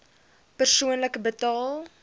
persoonlik betaal